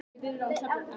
Petrína